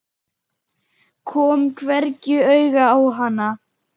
Kom hvergi auga á hana.